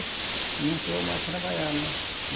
Não deixou eu mais trabalhar, né?